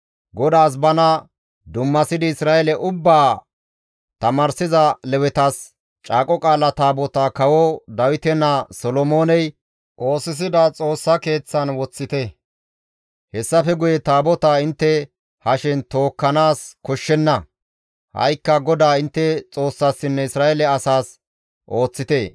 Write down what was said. GODAAS bana dummasidi Isra7eele ubbaa tamaarsiza Lewetas, «Caaqo Qaala Taabotaa kawo Dawite naa Solomooney oosisida Xoossa Keeththan woththite; hessafe guye Taabotaa intte hashen tookkanaas koshshenna; ha7ikka GODAA intte Xoossassinne Isra7eele asaas ooththite.